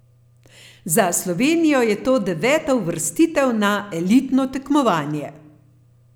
Za Slovenijo je to deveta uvrstitev na elitno tekmovanje.